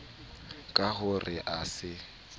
ka ho re a se